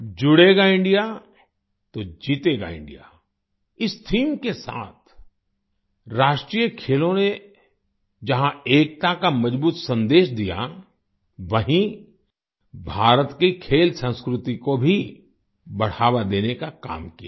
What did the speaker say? जुड़ेगा इंडिया तो जीतेगा इंडिया इस थीम के साथ राष्ट्रीय खेलों ने जहाँ एकता का मजबूत सन्देश दिया वहीं भारत की खेल संस्कृति को भी बढ़ावा देने का काम किया है